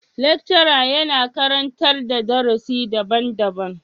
Lecturer yana karantar da darusi daban-daban.